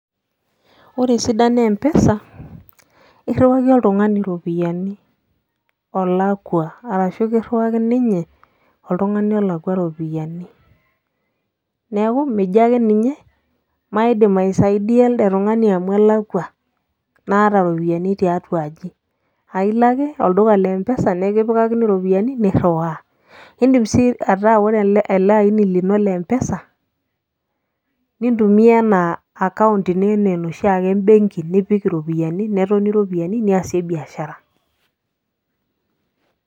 Ore esidano e M-pesa naa irriwaki oltung'ani iropiyiani olakua ashu kirriwaki ninye oltung'ani olakua iropiyiani, neeku mijo ake ninye maidim aisaidia elde tung'ani amu elakua naata iropiyiani tiatua aji ailo ake olduka le M-pesa nikipikakini iropiyiani nirriwaa, iindim sii ataa ore ele aini lino le M-pesa nintumia enaa account ino enaa enoshi ake ebenki nipik iropiyiani netoni iropiyiani niasie biashara.